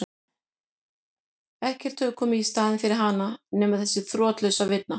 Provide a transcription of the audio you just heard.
Það leið ekki á löngu þar til mamma kom aftur úr eldhúsinu.